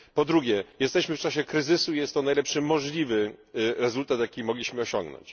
Po drugie, jesteśmy w czasie kryzysu i jest to najlepszy możliwy rezultat, jaki mogliśmy osiągnąć.